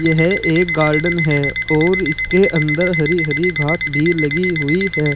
यह एक गॉर्डन है और इसके अंदर हरी हरी घास भी लगी हुई है।